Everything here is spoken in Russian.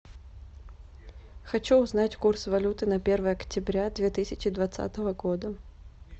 хочу узнать курс валюты на первое октября две тысячи двадцатого года